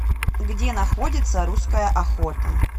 где находится русская охота